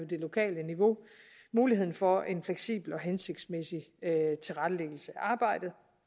det lokale niveau muligheden for en fleksibel og hensigtsmæssig tilrettelæggelse af arbejdet